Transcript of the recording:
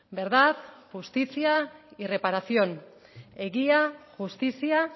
verdad justicia y reparación egia justizia